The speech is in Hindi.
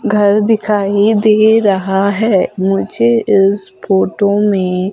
घर दिखाई दे रहा है मुझे इस फोटो में--